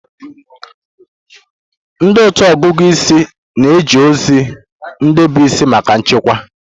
Ndị otu ọgụgụ isi na-eji ozi ndị bụ isi maka nchekwa.